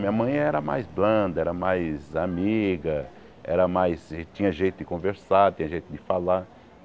Minha mãe era mais blanda, era mais amiga, era mais tinha jeito de conversar, tinha jeito de falar.